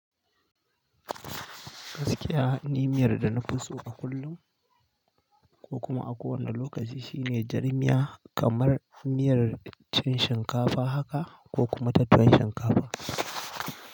Gaskiya, ni miyar da na fi so a kullum ko kuma a kowane lokaci shine jar miya kamar miyar cin shinkafa haka ko kuma tattalin shinkafa.